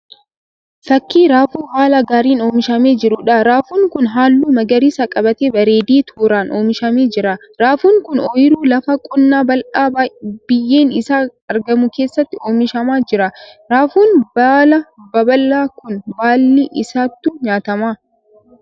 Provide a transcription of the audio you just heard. Fakkii raafuu haala gaariin oomishamee jiruudha. Raafuun kun halluu magariisa qabaatee bareedee tooraan oomishamee jira. Raafuun kun oyiruu lafa qonnaa bal'aa biyyeen isaa argamu keessatti oomishamaa jira. Raafuun baala babal'aa kun baalli isaatu nyaatama.